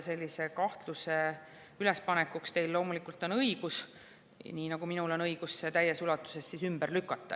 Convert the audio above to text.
Sellise kahtluse ülespanekuks on teil loomulikult õigus, nii nagu minul on õigus see täies ulatuses ümber lükata.